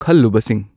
ꯈꯜꯂꯨꯕꯁꯤꯡ